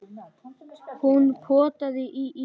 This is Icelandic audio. Hún potaði í ísinn.